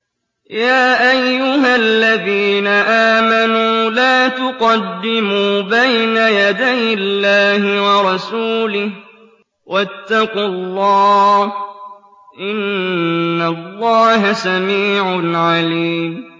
يَا أَيُّهَا الَّذِينَ آمَنُوا لَا تُقَدِّمُوا بَيْنَ يَدَيِ اللَّهِ وَرَسُولِهِ ۖ وَاتَّقُوا اللَّهَ ۚ إِنَّ اللَّهَ سَمِيعٌ عَلِيمٌ